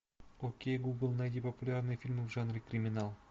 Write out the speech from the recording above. окей гугл найди популярные фильмы в жанре криминал